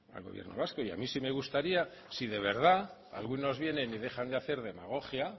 al gobierno vasco y a mí sí me gustaría si de verdad algunos vienen y dejan de hacer demagogia